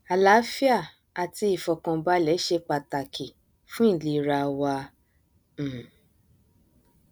àláfíà àti ìfọkànbalẹ ṣe pàtàkìfún ìlera wa um